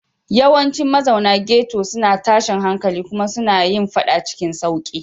Yawancin mazauna ghetto suna tashin hankali kuma suna yin faɗa cikin sauƙi.